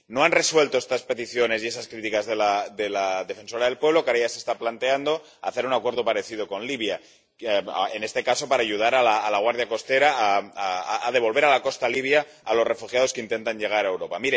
No han resuelto estas peticiones y esas críticas de la defensora del pueblo y ahora ya se está planteando hacer un acuerdo parecido con Libia, en este caso para ayudar a la guardia costera a devolver a la costa libia a los refugiados que intentan llegar a Europa.